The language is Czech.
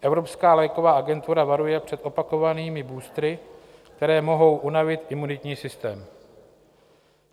Evropská léková agentura varuje před opakovanými boostery, které mohou unavit imunitní systém.